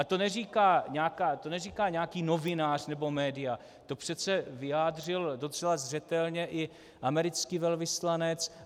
A to neříká nějaký novinář nebo média, to přece vyjádřil docela zřetelně i americký velvyslanec.